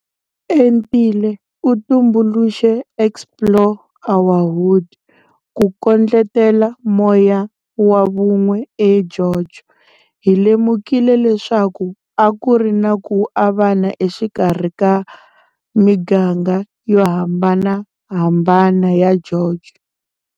Entile u tumbuluxe Explore our Hood ku kondletela moya wa vun'we eGeorge. Hi lemukile leswaku a ku ri na ku avana exikarhi ka miganga yo hambanahambana ya George.